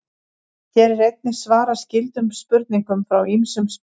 Hér er einnig svarað skyldum spurningum frá ýmsum spyrjendum.